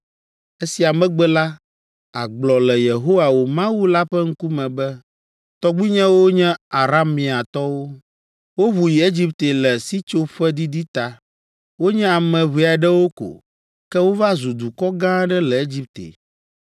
Esia megbe la, àgblɔ le Yehowa, wò Mawu la ƒe ŋkume be, ‘Tɔgbuinyewo nye Arameatɔwo. Woʋu yi Egipte le sitsoƒedidi ta. Wonye ame ʋɛ aɖewo ko, ke wova zu dukɔ gã aɖe le Egipte.